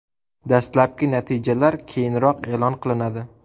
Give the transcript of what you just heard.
Dastlabki natijalar keyinroq e’lon qilinadi.